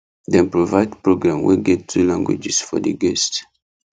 dem provide program wey get two languages for the guests